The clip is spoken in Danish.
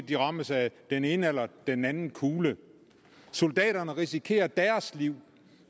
de rammes af den ene eller den anden kugle soldaterne risikerer deres liv